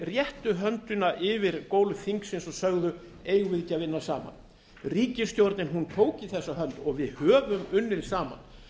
réttu höndina yfir gólf þingsins og sögðu eigum við ekki að vinna saman ríkisstjórnin tók í þessa hönd og við höfum unnið saman